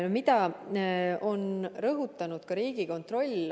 Mida on rõhutanud Riigikontroll?